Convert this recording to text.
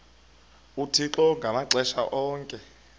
uthixo ngamaxesha onke